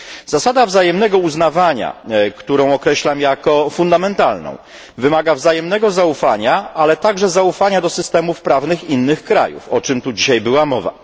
Zasada wzajemnego uznawania, którą określam jako fundamentalną, wymaga wzajemnego zaufania, ale także zaufania do systemów prawnych innych krajów, o czym tu była dzisiaj mowa.